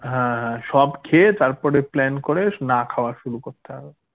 হ্যা হ্যা সব খেয়ে তারপরে plan করে না খাওয়া শুরু করতে হবে